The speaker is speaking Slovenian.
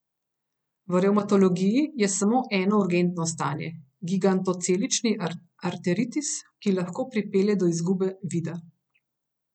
V revmatologiji je samo eno urgentno stanje, gigantocelični arteritis, ki lahko pripelje do izgube vida.